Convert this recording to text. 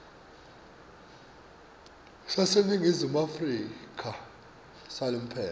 saseningizimu afrika salomphelo